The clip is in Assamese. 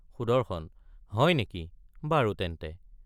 সুদৰ্শন— হয়নেকি বাৰু তেন্তে।